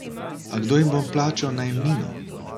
A kdo jim bo plačal najemnino?